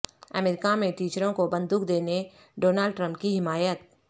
امریکہ میں ٹیچروں کو بندوق دینے ڈونالڈ ٹرمپ کی حمایت